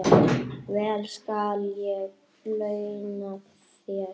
Vel skal ég launa þér.